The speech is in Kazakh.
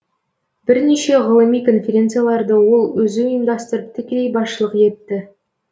бірнеше ғылыми конференцияларды ол өзі ұйымдастырып тікелей басшылық етті